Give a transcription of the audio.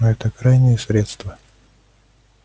но это крайнее средство